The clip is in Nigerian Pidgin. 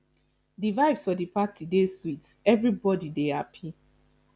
di vibes for di party dey sweet everybody dey happy